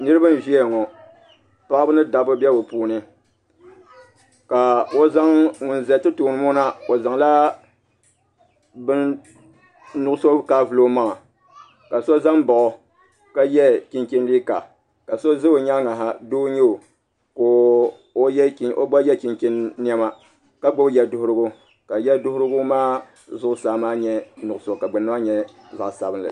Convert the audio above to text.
Niraba n ʒɛya ŋo paɣaba ni dabba bɛ bi puuni ka ŋun ƶɛ ti tooni ŋo na o zaŋla bin nuɣso kaai vuli o maŋa ka so ʒɛ n baɣa o ka yɛ chinchin liiga ka so ʒɛ o nyaangi ha doo n nyɛo ka o gba yɛ chunchin niɛma ka gbubi yɛduɣurigu ka yɛduɣurigu maa zuɣusaa maa nyɛ nuɣso ka gbunni maa nyɛ zaɣ sabinli